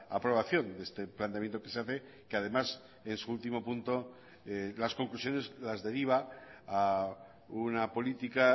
aprobación de este planteamiento que se hace que además en su último punto las conclusiones las deriva a una política